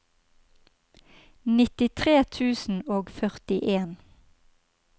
nittitre tusen og førtien